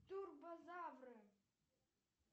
турбозавры